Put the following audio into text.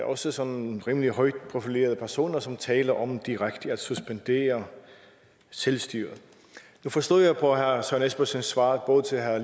også sådan rimelig højt profilerede personer som taler om direkte at suspendere selvstyret nu forstod jeg på herre søren espersens svar både til herre